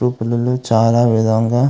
group లలో చాలా విధంగా--